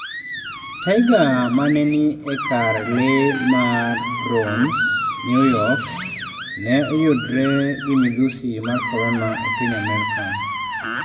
Tiger mane ni e kar lee mar Bronx, New York ne oyudre gi midhusi mar korona e piny Amerka